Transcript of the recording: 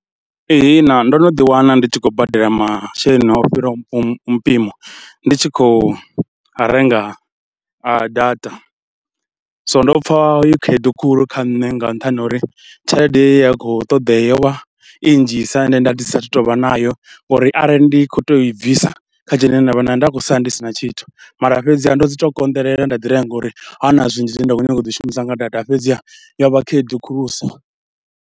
Ihina ndo no ḓiwana ndi tshi khou badela masheleni o fhiraho mpimo, ndi tshi khou renga a data, so ndo pfha i khaedu khulu kha nṋe nga nṱhani ha uri tshelede ye ya khou ṱoḓea yo vha i nnzhisa ende nda ndi satahu tou vha nayo. Ngauri arali ndi khou tea u i bvisa kha tshelede ine nda vha nayo nda khou sala ndi si na tshithu, mara fhedziha ndo dzi tou konḓelela nda ḓirenga ngauri ha na zwinzhi zwine nda khou nyanga u zwi shumisa nga data, fhedziha yo vha khaedu khulusa.